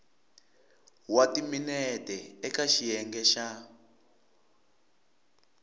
wa timinete eka xiyenge xa